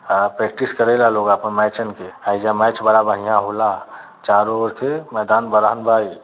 अ practice करे ला लोग आपन मैचन के एईजा मैच बड़ा बढ़िया होला। चारों ओर से मैदान बड़हन बा इ।